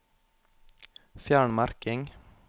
Fjern merking